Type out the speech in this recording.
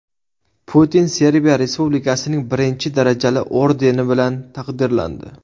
Putin Serbiya Respublikasining birinchi darajali ordeni bilan taqdirlandi.